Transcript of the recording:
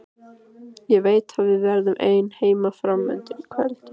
Ég veit að við verðum ein heima fram undir kvöld.